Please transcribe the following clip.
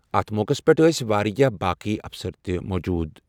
اَتھ موقعَس پٮ۪ٹھ ٲسۍ واریاہ باقی افسر تہِ موٗجوٗد۔